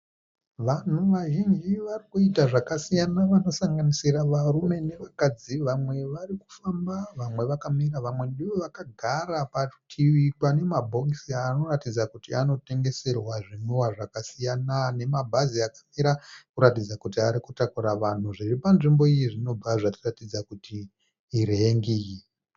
Vanhu vazhinji vari kuita zvakasiyana vanosanganisira varume nevakadzi vamwe vari kufamba vamwe vakamira. Vamwe ndivo vakagara parutivi pane mabhokisi anoratidza kuti anotengeserwa zvinwiwa zvakasiyana, nema bhazi achikwira kuratidza kuti arikutakura vanhu. Zviri panzvimbo iyi zvinobva zvatiratidza kuti irengi.